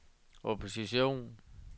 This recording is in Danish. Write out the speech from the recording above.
opposition